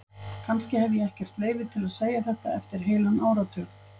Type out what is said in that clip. Kannski hef ég ekkert leyfi til að segja þetta eftir heilan áratug.